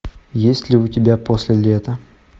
есть ли у тебя после лета